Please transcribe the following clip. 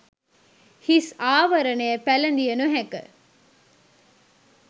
හිස් ආවරණය පැළදිය නොහැක